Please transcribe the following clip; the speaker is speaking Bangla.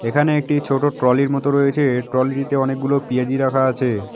এখানে একটি ছোট ট্রলি -এর মতো রয়েছে ট্রলি -টিতে অনেকগুলো পিয়াজি রাখা আছে।